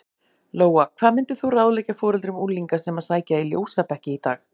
Lóa: Hvað myndir þú ráðleggja foreldrum unglinga sem að sækja í ljósabekki í dag?